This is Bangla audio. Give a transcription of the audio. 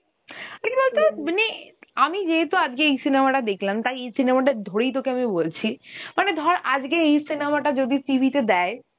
আর কি বলতো, মানে আমি যেহেতু আজকে এই cinema টা দেখলাম, তাই এই cinema টা ধরেই তোকে আমি বলছি. মানে ধর আজকে এই cinema টা যদি TV তে দেয়